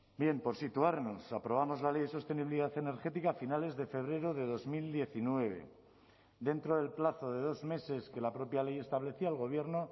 bien por situarnos aprobamos la ley de sostenibilidad energética a finales de febrero de dos mil diecinueve dentro del plazo de dos meses que la propia ley establecía el gobierno